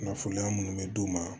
Kunnafoniya munnu be d'u ma